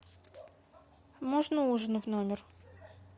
можно ужин в номер